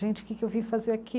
Gente, o que que eu vim fazer aqui?